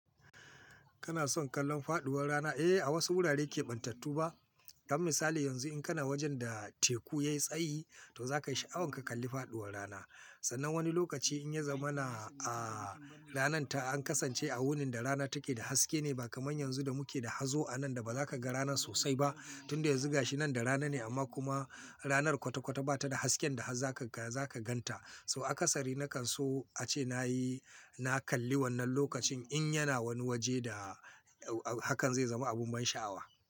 Kana son kallon faduwar rana? Eh, a wasu wurare keɓantattu ba. Kam misali yanzu in kana wajen da teku ya yi tsayi to za ka yi sha'awan ka kalli faduwar rana. Sannan wani lokaci in ya zama na, a rananta an kasance a wurin da rana take da haske ne ba kamar yanzu da muke da hazo a nan da ba za ka ga rana sosai ba tunda ya zuga shi nan da rana ne amma kuma ranar kwata-kwata ba ta da hasken da har za ka gan ta. So a kasari na kan so ace na yi, na kalli wannan lokacin in yana wani waje da hakan zai zama abu mai sha'awa.